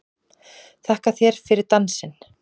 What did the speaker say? Þakka þér fyrir dansinn!